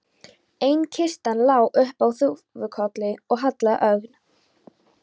Ein kistan lá upp á þúfukolli og hallaði ögn.